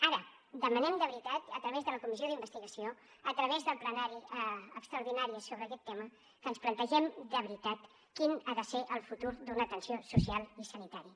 ara demanem de veritat a través de la comissió d’investigació a través del plenari extraordinari sobre aquest tema que ens plantegem de veritat quin ha de ser el futur d’una atenció social i sanitària